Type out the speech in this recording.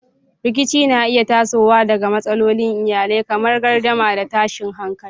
Rikici na iya tasowa daga matsalolin iyali kamar gardama da tashin hankali.